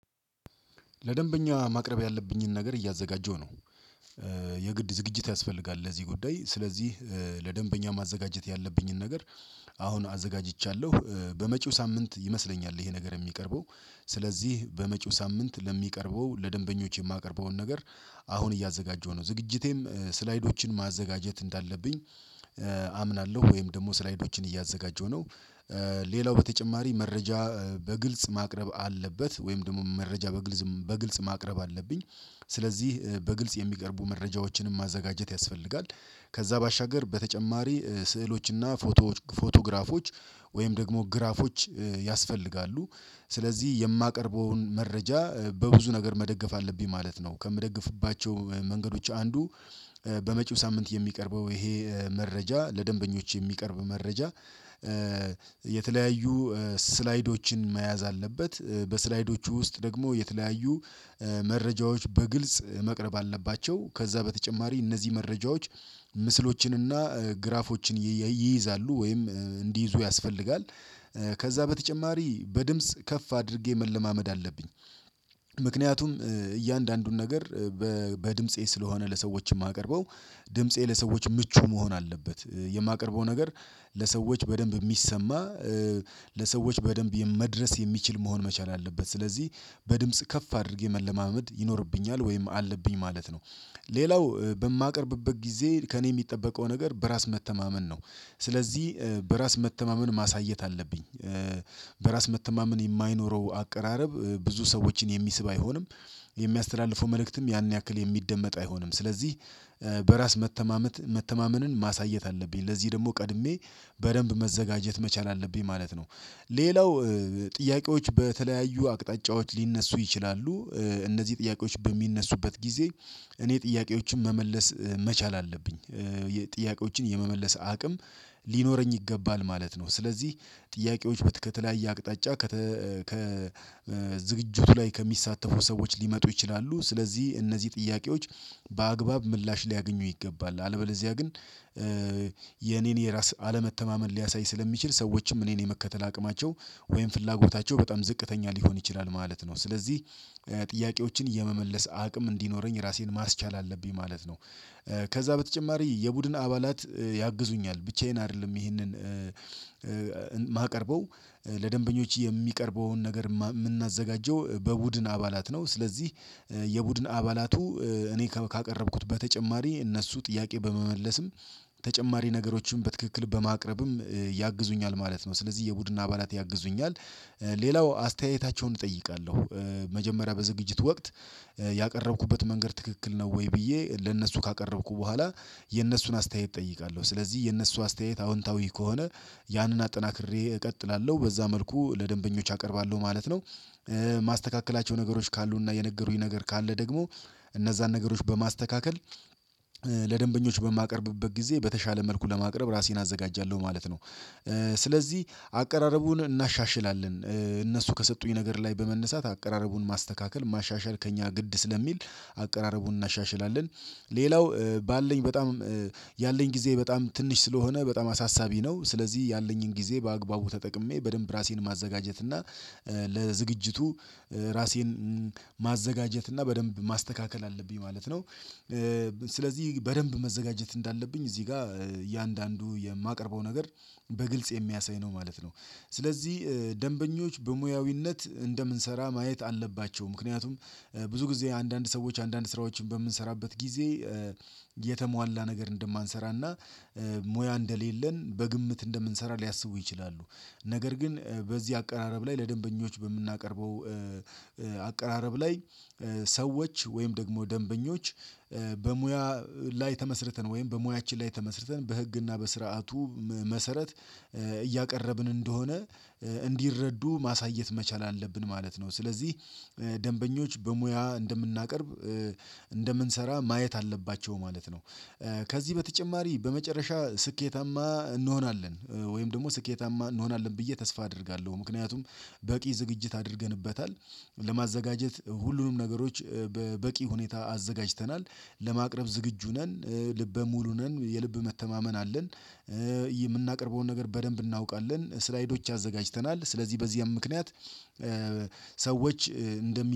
ለደንበኛ ማቅረብ ያለብኝን ነገር እያዘጋጀሁ ነው። የግድ ዝግጅት ያስፈልጋል ለዚህ ጉዳይ ስለዚህ ለደንበኛ ማዘጋጀት ያለብኝን ነገር። አሁን አዘጋጅቻለሁ በመጪው ሳምንት ይመስለኛል ይሄ ነገር የሚቀርበው። ስለዚህ በመጪው ሳምንት ለሚቀርበው ለደንበኞች የማቀርበውን ነገር አሁን እያዘጋጀሁ ነው። ዝግጅቴም ስላይዶችን ማዘጋጀት እንዳለብኝ አምናለሁ ወይም ደግሞ ስላይዶችን እያዘጋጀሁ ነው። ሌላው በተጨማሪ መረጃ በግልጽ ማቅረብ አለበት ወይም ደግሞ መረጃ በግልጽ ማቅረብ አለብኝ። ስለዚህ በግልጽ የሚቀርቡ መረጃዎችንም ማዘጋጀት ያስፈልጋል። ከዛ ባሻገር በተጨማሪ ስዕሎችና ፎቶዎች ፎቶግራፎች ወይም ደግሞ ግራፎች ያስፈልጋሉ። ስለዚህ የማቀርበውን መረጃ በብዙ ነገር መደገፍ አለብኝ ማለት ነው። ከምደግፍባቸው መንገዶች አንዱ በመጪው ሳምንት የሚቀርበው ይሄ መረጃ ለደንበኞች የሚቀርብ መረጃ። የተለያዩ ስላይዶችን መያዝ አለበት። በስላይዶቹ ውስጥ ደግሞ የተለያዩ መረጃዎች በግልጽ መቅረብ አለባቸው። ከዛ በተጨማሪ እነዚህ መረጃዎች ምስሎችንና ግራፎችን ይይዛሉ ወይም እንዲይዙ ያስፈልጋል። ከዛ በተጨማሪ በድምጽ ከፍ አድርጌ መለማመድ አለብኝ። ምክንያቱም እያንዳንዱን ነገር በድምጼ ስለሆነ ለሰዎች የማቀርበው ድምፄ ለሰዎች ምቹ መሆን አለበት የማቀርበው ነገር ለሰዎች በደንብ የሚሰማ። ለሰዎች በደንብ መድረስ የሚችል መሆን መቻል አለበት። ስለዚህ በድምጽ ከፍ አድርጌ መለማመድ ይኖርብኛል ወይም አለብኝ ማለት ነው። ሌላው በማቀርብበት ጊዜ ከእኔ የሚጠበቀው ነገር በራስ መተማመን ነው። ስለዚህ በራስ መተማመን ማሳየት አለብኝ። በራስ መተማመን የማይኖረው አቀራረብ ብዙ ሰዎችን የሚስብ አይሆንም። የሚያስተላልፈው መልእክትም ያን ያክል የሚደመጥ አይሆንም። ስለዚህ በራስ መተማመን መተማመንን ማሳየት አለብኝ ለዚህ ደግሞ ቀድሜ በደንብ መዘጋጀት መቻል አለብኝ ማለት ነው። ሌላው ጥያቄዎች በተለያዩ አቅጣጫዎች ሊነሱ ይችላሉ እነዚህ ጥያቄዎች በሚነሱበት ጊዜ። እኔ ጥያቄዎችን መመለስ መቻል አለብኝ። ጥያቄዎችን የመመለስ አቅም ሊኖረኝ ይገባል ማለት ነው። ስለዚህ ጥያቄዎች ከተለያየ አቅጣጫ ከ ከዝግጁቱ ላይ ከሚሳተፉ ሰዎች ሊመጡ ይችላሉ። ስለዚህ እነዚህ ጥያቄዎች በአግባብ ምላሽ ሊያገኙ ይገባል። አለበለዚያ ግን የኔን የራስ አለመተማመን ሊያሳይ ስለሚችል ሰዎችም እኔን የመከተል አቅማቸው ወይም ፍላጎታቸው በጣም ዝቅተኛ ሊሆን ይችላል ማለት ነው። ስለዚህ ጥያቄዎችን የመመለስ አቅም እንዲኖረኝ ራሴን ማስቻል አለብኝ ማለት ነው። ከዛ በተጨማሪ የቡድን አባላት ያግዙኛል ብቻዬን አይደለም ይሄንን። የማቀርበው ለደንበኞች የሚቀርበውን ነገር የምናዘጋጀው በቡድን አባላት ነው። ስለዚህ የቡድን አባላቱ እኔ ካቀረብኩት በተጨማሪ እነሱ ጥያቄ በመመለስም ተጨማሪ ነገሮችን በትክክል በማቅረብም ያግዙኛል ማለት ነው። ስለዚህ የቡድን አባላት ያግዙኛል። ሌላው አስተያየታቸውን እጠይቃለሁ መጀመሪያ በዝግጅት ወቅት። ያቀረብኩበት መንገድ ትክክል ነው ወይ ብዬ ለእነሱ ካቀረብኩ በኋላ የእነሱን አስተያየት እጠይቃለሁ። ስለዚህ የእነሱ አስተያየት አዎንታዊ ከሆነ። ያንን አጠናክሬ እቀጥላለሁ በዛ መልኩ ለደንበኞች አቀርባለሁ ማለት ነው። ማስተካከላቸው ነገሮች ካሉና የነገሩኝ ነገር ካለ ደግሞ እነዛን ነገሮች በማስተካከል። ለደንበኞች በማቀርብበት ጊዜ በተሻለ መልኩ ለማቅረብ ራሴን አዘጋጃለሁ ማለት ነው። ስለዚህ አቀራረቡን እናሻሽላለን እነሱ ከሰጡኝ ነገር ላይ በመነሳት አቀራረቡን ማስተካከል ማሻሻል ከእኛ ግድ ስለሚል አቀራረቡን እናሻሽላለን። ሌላው ባለኝ በጣም ያለኝ ጊዜ በጣም ትንሽ ስለሆነ በጣም አሳሳቢ ነው። ስለዚህ ያለኝን ጊዜ በአግባቡ ተጠቅሜ በደንብ ራሴን ማዘጋጀት እና ለዝግጅቱ ራሴን ማዘጋጀት እና በደንብ ማስተካከል አለብኝ ማለት ነው። ስለዚህ በደንብ መዘጋጀት እንዳለብኝ እዚህ ጋር እያንዳንዱ የማቀርበው ነገር በግልጽ የሚያሳይ ነው ማለት ነው። ስለዚህ ደንበኞች በሙያዊነት እንደምንሰራ ማየት አለባቸው። ምክንያቱም ብዙ ጊዜ አንዳንድ ሰዎች አንዳንድ ስራዎችን በምንሰራበት ጊዜ የተሟላ ነገር እንደማንሰራና ሙያ እንደሌለን በግምት እንደምንሰራ ሊያስቡ ይችላሉ። ነገር ግን በዚህ አቀራረብ ላይ ለደንበኞች በምናቀርበው አቀራረብ ላይ። ሰዎች ወይም ደግሞ ደንበኞች። በሙያ ላይ ተመስርተን ወይም በሙያችን ላይ ተመስርተን በህግና በስርዓቱ መሰረት እያቀረብን እንደሆነ እንዲረዱ ማሳየት መቻል አለብን ማለት ነው። ስለዚህ ደንበኞች በሙያ እንደምናቀርብ እንደምንሰራ ማየት አለባቸው ማለት ነው። ከዚህ በተጨማሪ በመጨረሻ ስኬታማ እንሆናለን ወይም ደግሞ ስኬታማ እንሆናለን ብዬ ተስፋ አደርጋለሁ። ምክንያቱም በቂ ዝግጅት አድርገንበታል። ለማዘጋጀት ሁሉንም ነገሮች በበቂ ሁኔታ አዘጋጅተናል። ለማቅረብ ዝግጁ ነን ልበ ሙሉ ነን የልብ መተማመን አለን። የምናቀርበውን ነገር በደንብ እናውቃለን ስላይዶች አዘጋጅተናል ስለዚህ በዚያም ምክንያት። ሰዎች እንደሚ